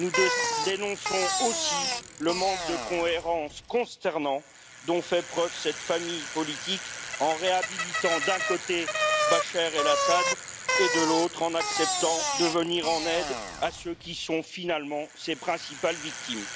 Nous dénonçons aussi le manque de cohérence consternant dont fait preuve cette famille politique en réhabilitant, d'un côté, Bachar El Assad et, de l'autre, en acceptant de venir en aide à ceux qui sont finalement ses principales victimes.